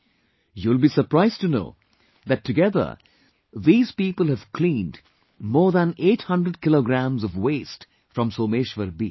You will be surprised to know that together these people have cleaned more than 800 kg of waste from Someshwar beach